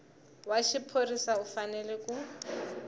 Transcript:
wa xiphorisa u fanele ku